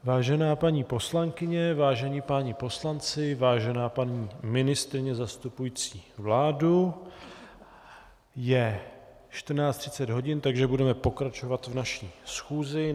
Vážená paní poslankyně, vážení páni poslanci, vážená paní ministryně zastupující vládu, je 14.30 hodin, takže budeme pokračovat v naší schůzi.